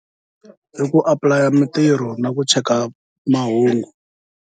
Hi ku apulaya mitirho na ku cheka mahungu.